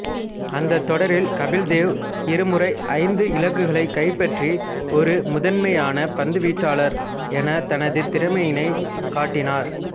அந்தத் தொடரில் கபில் தேவ் இருமுறை ஐந்து இலக்குகளைக் கைப்பற்றி ஒரு முதன்மையான பந்துவீச்சாளர் என தனது திறமையினைக் காட்டினார்